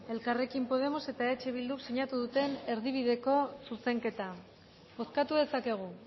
elkarrekin podemos eta eh bilduk sinatu duten erdibideko zuzenketa bozkatu dezakegu